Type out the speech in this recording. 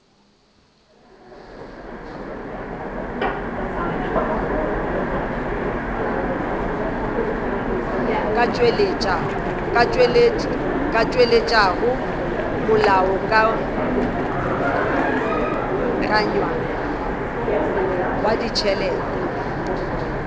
ka tšweletšago molaokakanywa wa ditšhelete